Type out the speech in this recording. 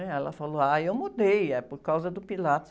né? Ela falou, ah, eu mudei, é por causa do Pilates.